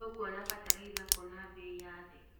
Tũkuona bataraitha kũ na mbei ya thĩ.